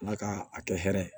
Ala ka a kɛ hɛrɛ ye